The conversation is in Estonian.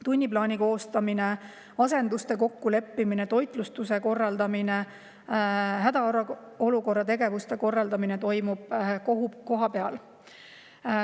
Tunniplaani koostamine, asenduste kokkuleppimine, toitlustuse korraldamine ja hädaolukorra tegevuste korraldamine toimub kohapeal.